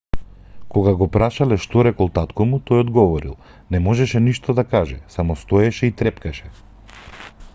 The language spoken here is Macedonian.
кога го прашале што рекол татко му тој одговорил не можеше ништо да каже само стоеше и трепкаше